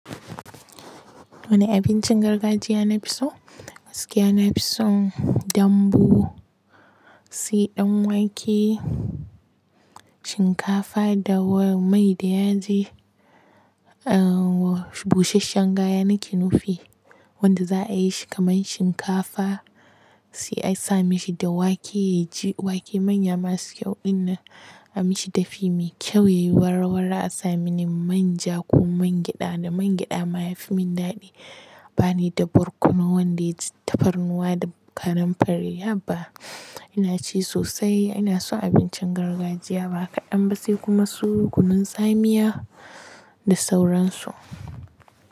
Wane abincin gargajiya na fi so? Gaskiya na fi son dambu, sai ɗan wake, shinkafa da mai da yaji. Uh, busasshen gaya nake nufi wanda za a yi shi kamar shinkafa sai a sami shi da wake yaji. Wake manya masu kyau inna a mishi dafi mai kyau yayi warwarra a sami ni manja ko mangyaɗa. Da mangyaɗa ma yafi min daɗi bani da barkono wanda yaji tafarnuwa da karen fari haba. Ina ci sosai ina son abincin gargajiya ba kaɗan ba sai kuma su kunun tsamiya da sauransu.